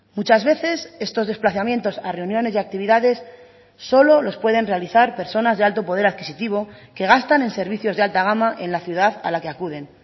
muchas veces estos desplazamientos a reuniones y actividades solo los pueden realizar personas de alto poder adquisitivo que gastan en servicios de alta gama en la ciudad a la que acuden